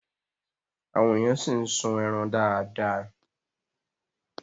Àwọn èèyàn ṣì ń sun ẹran dáadáa